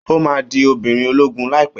Ó máa di obìnrin ológun láìpẹ́